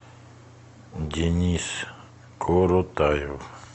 денис коротаев